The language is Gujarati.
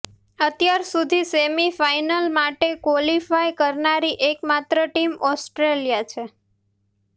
અત્યાર સુધી સેમિ ફાઇનલ માટે ક્વોલિફાય કરનારી એકમાત્ર ટીમ ઓસ્ટ્રેલિયા છે